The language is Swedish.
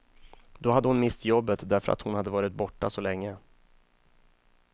Då hade hon mist jobbet därför att hon hade varit borta så länge.